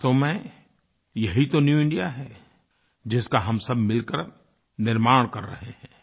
वास्तव में यही तो न्यू इंडिया है जिसका हम सब मिल कर निर्माण कर रहे हैं